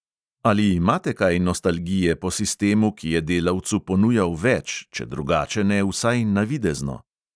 Ali imate kaj nostalgije po sistemu, ki je delavcu ponujal več, če drugače ne, vsaj navidezno?